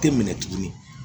Tɛ minɛ tuguni